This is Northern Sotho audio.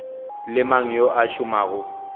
le mang yo a šomago